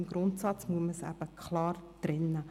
Im Grundsatz muss man diese Bereiche eben klar trennen.